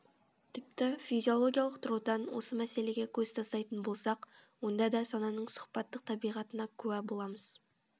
тіпті физиологиялық тұрғыдан осы мәселеге көз тастайтын болсақ онда да сананың сұхбаттық табиғатына куә боламыз